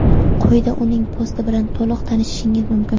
Quyida uning posti bilan to‘liq tanishishingiz mumkin.